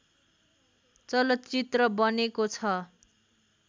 चलचित्र बनेको छ